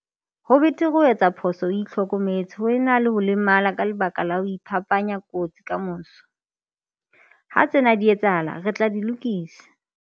Ho betere ho etsa phoso o itlhokemetse ho e na le ho lemala ka lebaka la ho iphapanya kotsi kamoso. Ha tsena di etsahala, re tla di lokisa.